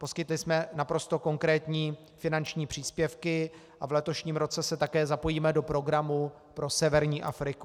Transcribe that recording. Poskytli jsme naprosto konkrétní finanční příspěvky a v letošním roce se také zapojíme do programu pro severní Afriku.